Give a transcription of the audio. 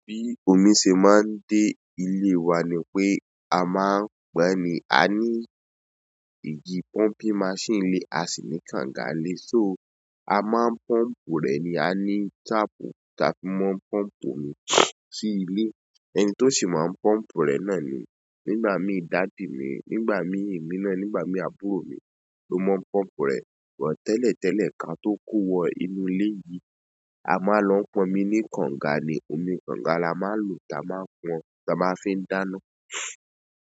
Bí omi ṣe máa ń dé ilé wa ni pé a máa ń pọn ni, a ní ìjì pumping machine nlé a sì ní kànga nlé, so amo n pompu re ni, ani tapu tafi ma npompu omi si ile. Ẹni tó sì máa ń pọ́ǹpọ̀ rẹ̀ náà ni, nígbà mí dádì mi, nígbà mí emí náà, nígbà mí àbúrò mi ló máa ń pọ́ǹpọ̀ rẹ̀ bo tẹ́lẹ̀tẹ́lẹ̀ kí a tó ko wọ inú ilé yìí. A máa ń lọ pọn omi ní kànga ni, omi kànga la máa ń lo táa máa pọn, táa máa fi ń dáná.